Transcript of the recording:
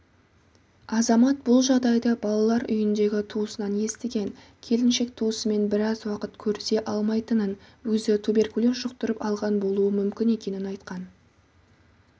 азамат бұл жағдайды балалар үйіндегі туысынан естіген келіншек туысымен біраз уақыт көрісе алмайтынын өзі туберкулез жұқтырып алған болуы мүмкін екенін айтқан